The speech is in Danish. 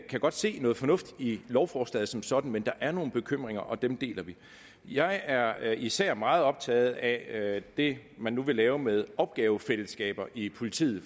kan godt se noget fornuftigt i lovforslaget som sådan men der er nogle bekymringer og dem deler vi jeg er især meget optaget af det man nu vil lave med opgavefællesskaber i politiet